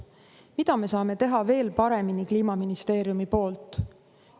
Mida me saame teha veel paremini Kliimaministeeriumi poolt?